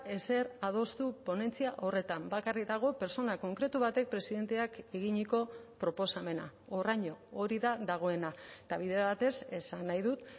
ezer adostu ponentzia horretan bakarrik dago pertsona konkretu batek presidenteak eginiko proposamena horraino hori da dagoena eta bide batez esan nahi dut